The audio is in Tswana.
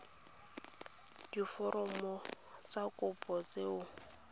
diforomo tsa kopo tse o